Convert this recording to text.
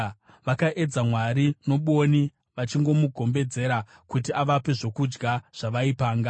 Vakaedza Mwari nobwoni vachimugombedzera kuti avape zvokudya zvavaipanga.